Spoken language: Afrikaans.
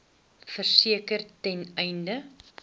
verseker ten einde